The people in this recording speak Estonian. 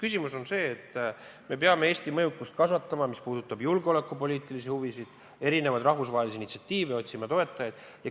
Küsimus on selles, et me peame Eesti mõjukust kasvatama – see puudutab julgeolekupoliitilisi huvisid, erinevaid rahvusvahelisi initsiatiive – ja otsima toetajaid.